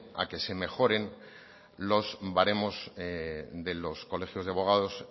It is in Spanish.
a que se mejoren los baremos de los colegios de abogados